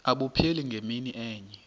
abupheli ngemini enye